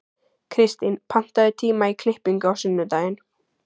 Kirstín, pantaðu tíma í klippingu á sunnudaginn.